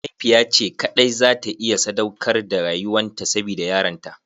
Mahaifiya ce kaɗai za ta iya sadaukar da rayuwan ta sabida yaranta.